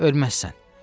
Ölməzsən.